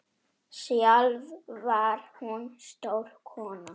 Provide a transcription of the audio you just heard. Sjálf var hún stór kona.